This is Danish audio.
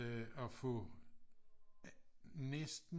Øh at få næsten